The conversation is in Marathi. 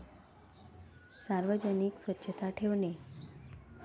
सार्वजनिक स्वच्छता ठेवणे.